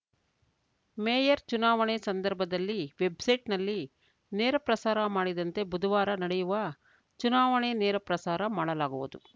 mayor ಚುನಾವಣೆ ಸಂದರ್ಭದಲ್ಲಿ ವೆಬ್‌ಸೈಟ್‌ನಲ್ಲಿ ನೇರಪ್ರಸಾರ ಮಾಡಿದಂತೆ ಬುಧವಾರ ನಡೆಯುವ ಚುನಾವಣೆ ನೇರ ಪ್ರಸಾರ ಮಾಡಲಾಗುವುದು